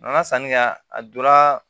N ka sannikɛ a donra